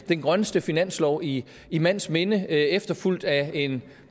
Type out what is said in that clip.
den grønneste finanslov i i mands minde efterfulgt af en